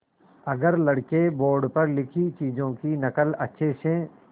अगर लड़के बोर्ड पर लिखी चीज़ों की नकल अच्छे से